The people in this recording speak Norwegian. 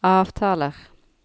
avtaler